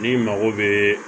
N'i mago bɛ